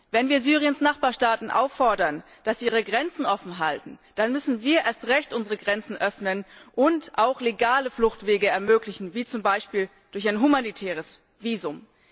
Wenn wir Syriens Nachbarstaaten auffordern, ihre Grenzen offenzuhalten, dann müssen wir erst recht unsere Grenzen öffnen und auch legale Fluchtwege ermöglichen, zum Beispiel durch ein humanitäres Visum.